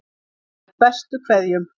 Með bestu kveðjum.